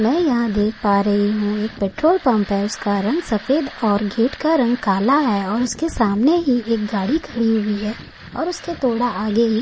मै यहाँ देख पा रही हूँ एक पेट्रोल पंप है उसका रंग सफ़ेद और गेट का रंग काला है और उसके सामने ही एक गाडी खड़ी हुई है और उसके थोडा आगे ही --